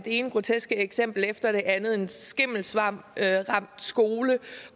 ene groteske eksempel efter det andet en skimmelsvampramt skole